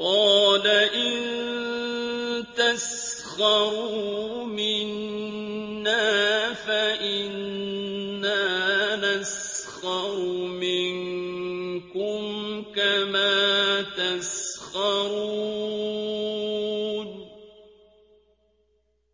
قَالَ إِن تَسْخَرُوا مِنَّا فَإِنَّا نَسْخَرُ مِنكُمْ كَمَا تَسْخَرُونَ